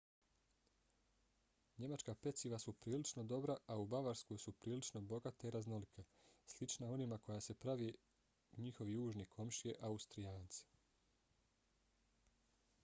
njemačka peciva su prilično dobra a u bavarskoj su prilično bogata i raznolika slična onima koji prave njihovi južni komšije austrijanci